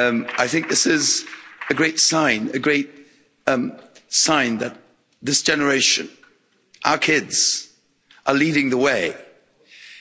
I think this is a great sign that this generation our kids are leading the way,